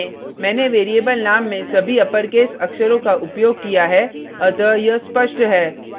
ध्यान दें मैंने variable name में सभी अपरकेस अक्षरों का उपयोग किया है अतः यह स्पष्ट है